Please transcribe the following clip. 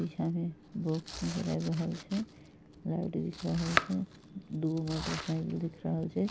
पीछा मे बॉक्स नजर आब रहल छै लाइट दिख रहल छै दू गो मोटर साइकिल दिख रहल छै।